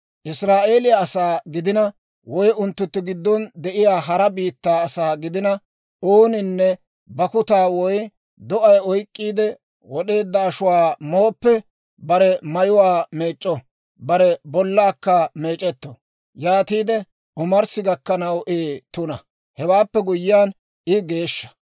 « ‹Israa'eeliyaa asaa gidina woy unttunttu giddon de'iyaa hara biittaa asaa gidina, ooninne bakkuta woy do'ay oyk'k'iide wod'eedda ashuwaa mooppe, bare mayuwaa meec'c'o; bare bollaakka meec'etto; yaatiide omarssi gakkanaw I tuna. Hewaappe guyyiyaan, I geeshsha.